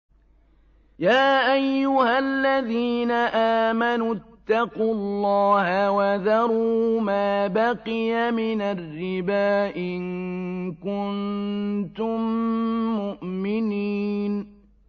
يَا أَيُّهَا الَّذِينَ آمَنُوا اتَّقُوا اللَّهَ وَذَرُوا مَا بَقِيَ مِنَ الرِّبَا إِن كُنتُم مُّؤْمِنِينَ